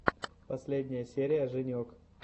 последняя серия женек